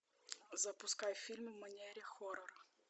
запускай фильм в манере хоррор